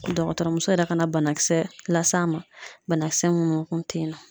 Dɔgɔtɔrɔ muso yɛrɛ ka na banakisɛ las'a ma, banakisɛ minnu kun tɛ yen nɔ.